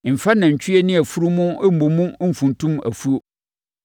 Mfa nantwie ne afunumu mmɔ mu mfuntum afuo.